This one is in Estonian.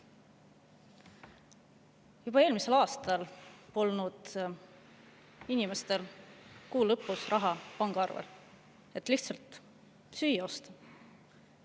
Juba eelmisel aastal polnud inimestel kuu lõpus pangaarvel raha, et süüa osta.